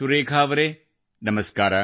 ಸುರೇಖಾ ಅವರೇ ನಮಸ್ಕಾರ